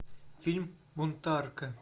фильм бунтарка